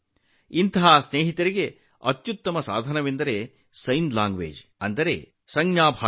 ಅಂತಹ ಸ್ನೇಹಿತರಿಗೆ ದೊಡ್ಡ ಬೆಂಬಲವೆಂದರೆ ಸಂಜ್ಞೆ ಭಾಷೆ